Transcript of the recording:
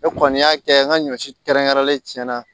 Ne kɔni y'a kɛ n ka ɲɔ si kɛrɛnkɛrɛnlen tiɲɛna